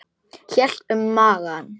Hélt um magann.